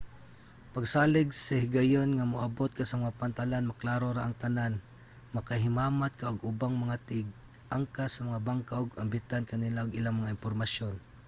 pagsalig nga sa higayon nga moabot ka sa mga pantalan maklaro ra ang tanan. makahimamat ka og ubang mga tig-angkas sa mga bangka ug ambitan ka nila og ilang mga impormasyon